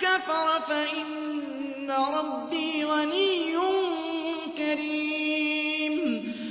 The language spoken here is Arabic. كَفَرَ فَإِنَّ رَبِّي غَنِيٌّ كَرِيمٌ